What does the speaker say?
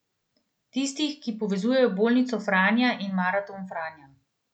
Tistih, ki povezujejo bolnico Franja in maraton Franja.